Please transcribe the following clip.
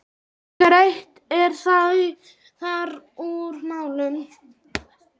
Greitt er þar úr málum.